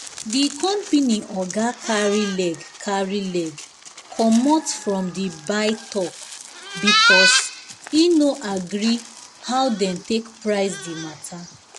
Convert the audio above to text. the company oga carry leg carry leg comot from the buy-talk because e no gree how dem take price the matter